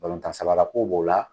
Balontan sabara ko b'o la